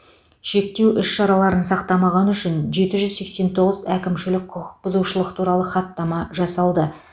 шектеу іс шараларын сақтамағаны үшін жеті жүз сексен тоғыз әкімшілік құқық бұзушылық туралы хаттама жасалды